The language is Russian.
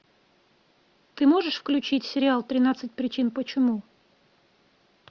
ты можешь включить сериал тринадцать причин почему